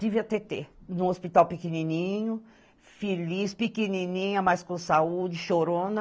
Tive a Tetê, num hospital pequenininho, feliz, pequenininha, mas com saúde, chorona.